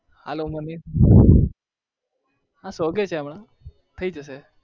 હા શોધે છે હમણાં થઇ જશે